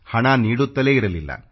ಹಣ ನೀಡುತ್ತಲೇ ಇರಲಿಲ್ಲ